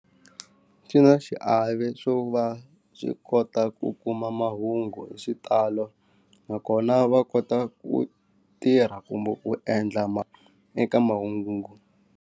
Xi na xiave swo va swi kota ku kuma mahungu hi xitalo nakona va kota ku tirha kumbe ku endla eka mahungu.